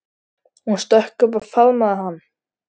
Hún stökk upp og faðmaði hann.